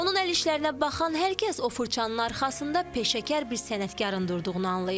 Onun əl işlərinə baxan hər kəs o fırçanın arxasında peşəkar bir sənətkarın durduğunu anlayır.